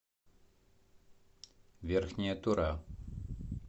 верхняя тура